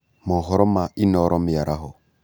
Mohoro ma Inoro mĩaraho